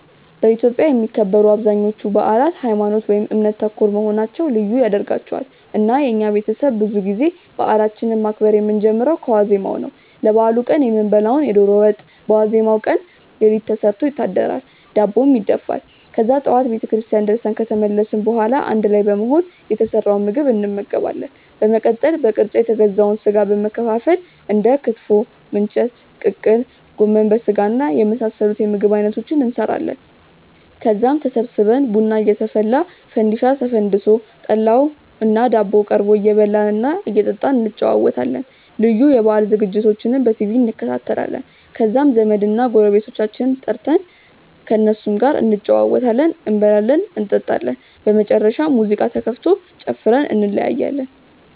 በኢትዮጵያ የሚከበሩ አብዛኞቹ በአላት ሀይማኖት ( እምነት) ተኮር መሆናቸው ልዩ ያደርጋቸዋል። እና የኛ ቤተሰብ ብዙ ጊዜ በአላችንን ማክበር የምንጀምረው ከዋዜማው ነው። ለበአሉ ቀን የምንበላውን የዶሮ ወጥ በዋዜማው ቀን ሌሊት ተሰርቶ ይታደራል፤ ዳቦም ይደፋል። ከዛ ጠዋት ቤተክርስቲያን ደርሰን ከተመለስን በኋላ አንድ ላይ በመሆን የተሰራውን ምግብ እንመገባለን። በመቀጠል በቅርጫ የተገዛውን ስጋ በመከፋፈል እንደ ክትፎ፣ ምንቸት፣ ቅቅል፣ ጎመን በስጋና የመሳሰሉት የምግብ አይነቶችን እንሰራለን። ከዛም ተሰብስበን ቡና እየተፈላ፣ ፈንዲሻ ተፈንድሶ፣ ጠላውና ዳቦው ቀርቦ እየበላን እና እየጠጣን እንጨዋወታለን። ልዩ የበአል ዝግጅቶችንም በቲቪ እንከታተላለን። ከዛም ዘመድና ጎረቤቶቻችንን ጠርተን ከእነሱም ጋር እንጨዋወታለን፤ እንበላለን እንጠጣለን። በመጨረሻም ሙዚቃ ተከፍቶ ጨፍረን እንለያያለን።